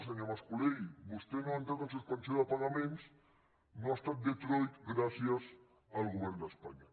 senyor mas colell vostè no ha entrat en suspensió de pagaments no ha estat detroit gràcies al govern d’espanya